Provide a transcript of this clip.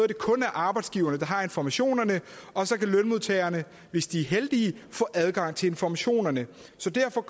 det kun er arbejdsgiverne der har informationerne og så kan lønmodtagerne hvis de er heldige få adgang til informationerne så derfor